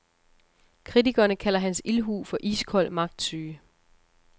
Kritikerne kalder hans ildhu for iskold magtsyge.